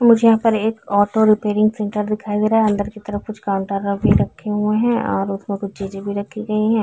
मुझे यहां पर एक ऑटो रिपेयरिंग सेंटर दिखाया गया है अंदर की तरफ कुछ काउंटर भी रखे हुए हैं और उसम कुछ चीजें भी रखी गई है।